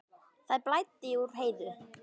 Það blæddi úr Heiðu.